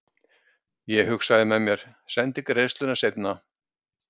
Ég hugsaði með mér:- Sendi greiðsluna seinna.